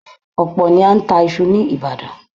Ọ̀pọ̀ ni a ń ta iṣu ní Ìbàdàn